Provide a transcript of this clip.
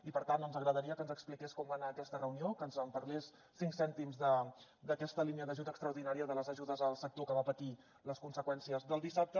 i per tant ens agradaria que ens expliqués com va anar aquesta reunió que ens en fes cinc cèntims d’aquesta línia d’ajut extraordinària de les ajudes al sector que va patir les conseqüències del dissabte